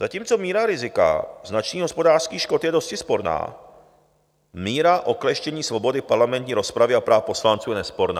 Zatímco míra rizika značných hospodářských škod je dosti sporná, míra okleštění svobody parlamentní rozpravy a práv poslanců je nesporná.